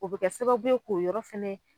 O bɛ kɛ sababu ye k'o yɔrɔ fɛnɛ.